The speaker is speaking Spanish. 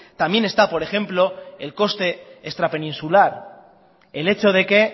también está por ejemplo el coste extrapeninsular el hecho de que